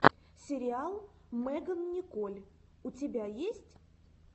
сериал меган николь у тебя есть